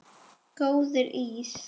Góður ís?